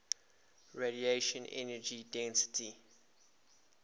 radiation energy density